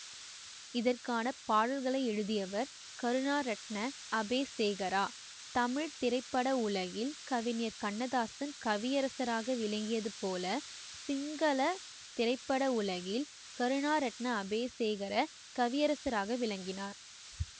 இதற்கான பாடல்களை எழுதியவர் கருணாரட்ன அபேசேகர தமிழ் திரைப்பட உலகில் கவிஞர் கண்ணதாசன் கவியரசராக விளங்கியது போல சிங்கள திரைப்பட உலகில் கருணாரட்ண அபேசேகர கவியரசராக விளங்கினார்